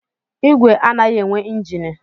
Igwe anaghị enwe njini